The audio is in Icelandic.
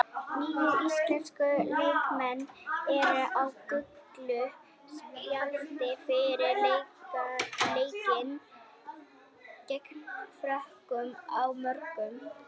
Níu íslenskir leikmenn eru á gulu spjaldi fyrir leikinn gegn Frökkum á morgun.